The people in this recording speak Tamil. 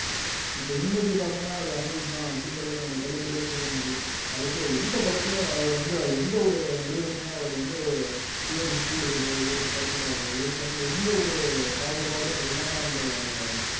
இப்ப இன்னைக்கு பார்த்தோம்னா அது அனிருத் தான் அப்படிங்கறத நாம தெள்ளத் தெளிவா சொல்லிட முடியும் கடைசியா எந்த படத்திலயும் அவர் வந்து எந்த ஒரு நடிகருக்குமே அவர் வந்து இவருக்கு கூடுதலோ இவருக்கு குறைச்சலாகவோ இவருக்கு வந்து எந்த ஒரு பாகுபாடும் இல்லாம அந்த